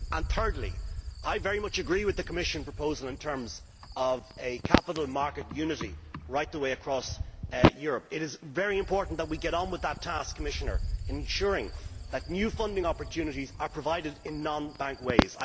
Thirdly, I very much agree with the Commission proposal in terms of capital market unity right the way across Europe. It is very important that we get on with that task, Commissioner, ensuring that new funding opportunities are provided in non bank ways.